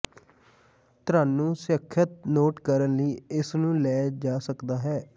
ਤੁਹਾਨੂੰ ਸੁਰੱਖਿਅਤ ਨੋਟ ਕਰਨ ਲਈ ਇਸ ਨੂੰ ਲੈ ਜਾ ਸਕਦਾ ਹੈ